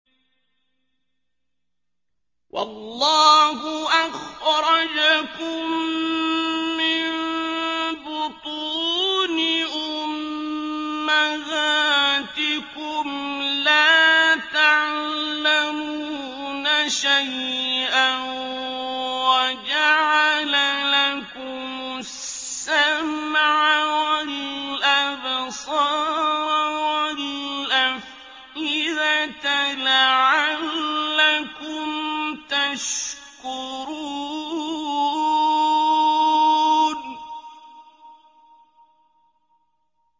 وَاللَّهُ أَخْرَجَكُم مِّن بُطُونِ أُمَّهَاتِكُمْ لَا تَعْلَمُونَ شَيْئًا وَجَعَلَ لَكُمُ السَّمْعَ وَالْأَبْصَارَ وَالْأَفْئِدَةَ ۙ لَعَلَّكُمْ تَشْكُرُونَ